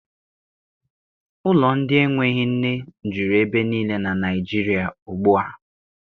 Ụlọ ndị enweghị nne juru ebe niile na Naịjirịa ugbua.